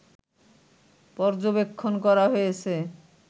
পর্যবেক্ষণ করা হয়েছে